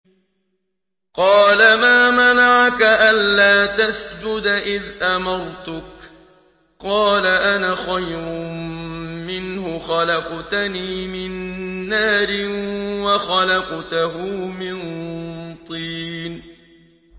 قَالَ مَا مَنَعَكَ أَلَّا تَسْجُدَ إِذْ أَمَرْتُكَ ۖ قَالَ أَنَا خَيْرٌ مِّنْهُ خَلَقْتَنِي مِن نَّارٍ وَخَلَقْتَهُ مِن طِينٍ